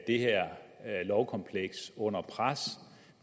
det her lovkompleks under pres